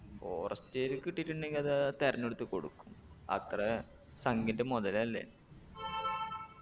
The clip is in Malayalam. forest area ക്ക് കിട്ടീട്ടുണ്ടെങ്കി അത് തെരഞ്ഞെടുത്തേക്ക് കൊടുക്കും അത്ര സംഖ്യൻറെ മൊതലല്ലേ